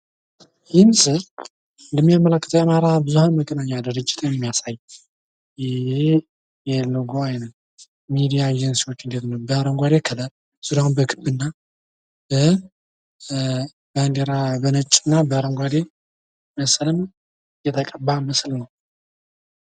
ይህ ምስል እንደሚያመላክተው የአማራ ብዙሀን መገናኛ ድርጅትን የሚያሳይ የሎጎ አይነት ሚዲያ ኤጄንሲዎች በአረጓዴ ከለር ዙርያውን በክብና በባዲራ በነጭና ባረጓዴ መሰል የተቀባ ምስል ነው።